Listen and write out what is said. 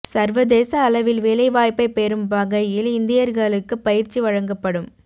சர்வதேச அளவில் வேலை வாய்ப்பை பெறும் வகையில் இந்தியர்களுக்கு பயிற்சி வழங்கப்படும்